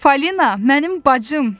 Falina, mənim bacım!